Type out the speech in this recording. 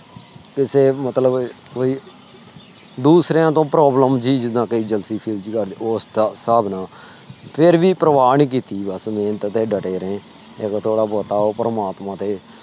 ਮਤਲਬ ਕੋਈ ਦੂਸਰਿਆਂ ਤੋਂ problem ਜੀ ਜਿਦਾਂ ਉਸ ਸਾਬ ਨਾ ਫਿਰ ਵੀ ਪ੍ਰਵਾ ਨੀ ਕੀਤੀਆ ਮੇਹਨਤ ਤੇ ਡਟੇ ਰਹੇ ਥੋੜਾ ਬਹੁਤਾ ਉਹ ਪ੍ਰਮਾਤਮਾ ਤੇ।